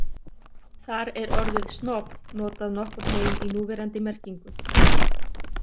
Þar er orðið snob notað nokkurn veginn í núverandi merkingu.